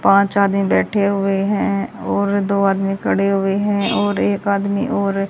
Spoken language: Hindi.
पांच आदमी बैठे हुए हैं और दो आदमी खड़े हुए हैं और एक आदमी और--